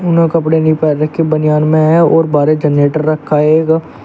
उन्होंने कपड़े नहीं पहन रखे बनियान में है और बाहर एक जनरेटर रखा है एक--